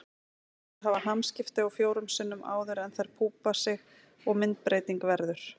Lirfurnar hafa hamskipti fjórum sinnum áður en þær púpa sig og myndbreyting verður.